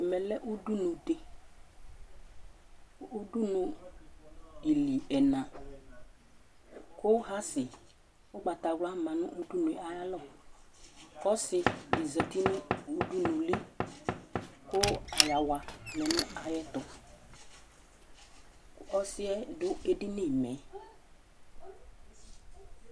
Ɛmɛlɛ ʋɖʋnu ɖi Ʋɖʋnue ìlí ɛna kʋ hasi ʋgbatawla ma ŋu ayʋ alɔ kʋ ɔsi ɖi zɛti ŋu ʋɖʋnuli kʋ ayawa lɛnu ayɛtʋ Ɔsiɛ ɖu ɛɖìnímɛ